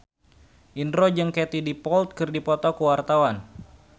Indro jeung Katie Dippold keur dipoto ku wartawan